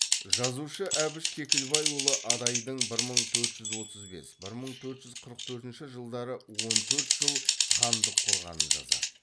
жазушы әбіш кекілбайұлы адайдың бір мың төрт жүз отыз бес бір мың төрт жүз қырық төртінші жылдары он төрт жыл хандық құрғанын жазады